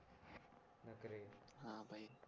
हान भाई